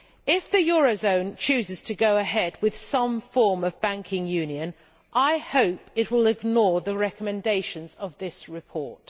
If the eurozone chooses to go ahead with some form of banking union, I hope it will ignore the recommendations of this report.